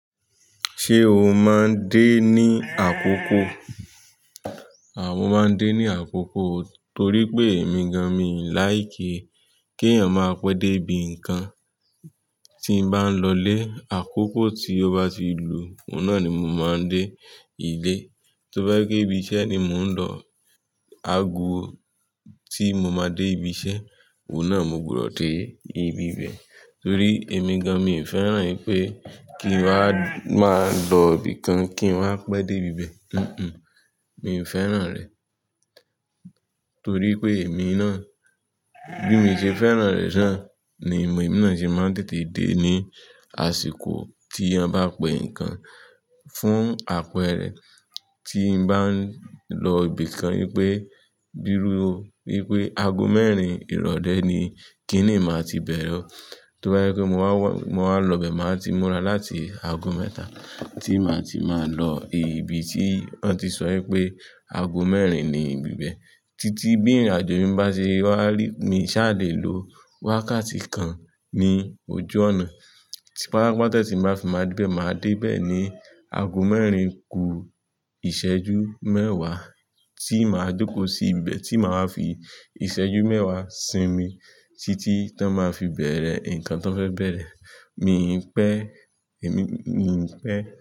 Ṣé o máa ń dé ní àkókò? Àwọn máa ń dé ní àkókò torí pé èmi gan mi ò láìké kí èèyàn máa pé dé ibi nǹkan. Tí mo bá ń lọlé, àkókò tí ó bá ti lù, òun náà ni mo máa ń dé ilé. Tí ó bá jẹ́ pé ibi iṣẹ́ ni mò ń lọ, aago tí mo máa dé ibi iṣẹ́, òun náà mo gbọ́dọ̀ dé ibi ibẹ̀. Torí èmi gan, mi ò fẹ́ràn ipé kí n wá, máa lọ ibi kan kí n wá pé dé ibi ibẹ̀. Hunhun. Mi ò fẹ́ràn rẹ̀ torí pé èmi náà, bí mi o ṣe fẹ́ràn rẹ̀ ṣá, ni èmi náà ṣe máa ń tètè dé ní àsìkò tí wọ́n bá pè ǹkan fún àpẹẹrẹ. Tí mo bá ń lọ ibi kan wípé, bíi rúu o, wípé aago mẹ́rin ìrọ̀le ni, kíni màá ti bẹ̀rẹ̀. Tí ó bá jẹ́ pé mo wá, mo wá lọ bẹ, màá ti múra láti aago mẹ́ta tí màá ti máa lọ ibi tí wọ́n ti sọ wípé aago mẹ́rin ni ibi ibẹ̀ títí bí ìrìnàjò mi bá ṣe wá rí mi ṣá, lè lo wákàtí kan ní ojú ọ̀nà. Pátápátá tí mo bá fi máa dé bẹ, màá dé bẹ́ẹ̀ ni aago mẹ́rin ku ìṣẹ́jú mẹ́wàá tí màá jókòó sí ibẹ̀, tí màá fi ìṣẹ́jú mẹ́wàá sinmi títí tí wọ́n máa fi bẹ̀rẹ̀ nǹkan tí wọ́n fẹ́ bẹ̀rẹ̀. Mi ò pẹ́, èmi, mi ò pẹ́